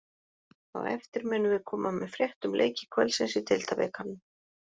Á eftir munum við koma með frétt um leiki kvöldsins í deildabikarnum.